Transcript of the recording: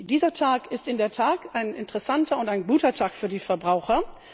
Dieser Tag ist in der Tat ein interessanter und guter Tag für die Verbraucher.